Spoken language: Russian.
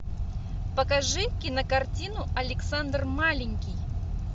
покажи кинокартину александр маленький